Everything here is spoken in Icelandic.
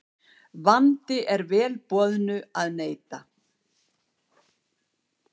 Vandi er vel boðnu að neita.